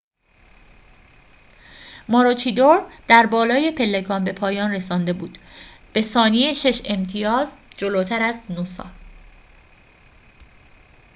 ماروچیدور در بالای پلکان به پایان رسانده بود به ثانیه شش امتیاز جلوتر از نوسا